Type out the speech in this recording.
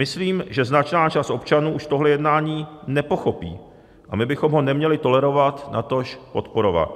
Myslím, že značná část občanů už tohle jednání nepochopí, a my bychom ho neměli tolerovat, natož podporovat.